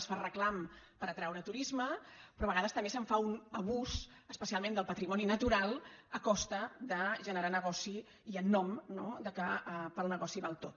es fa reclam per atraure turisme però a vegades també se’n fa un abús especialment del patrimoni natural a costa de generar negoci i en nom no que pel negoci val tot